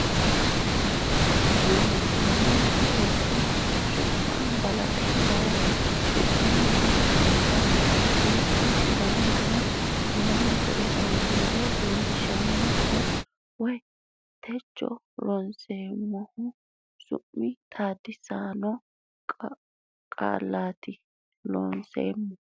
Looseemmo Rsn su ma balaxe daye su munniha akkata gujjo dananna w k l leellishanno woy techo ronseemmohu su mi xawisanno qaaleeti Looseemmo.